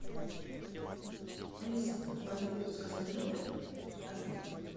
алиса помоги заказать в номер обед